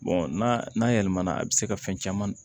n'a n'a yɛlɛmana a bɛ se ka fɛn caman